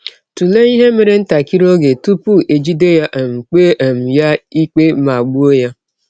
Tụlee ihe mere ntakịrị oge tụpụ e jide ya, um kpee um ya ikpe, ma gbụọ ya.